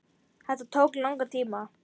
Þetta tók langan tíma.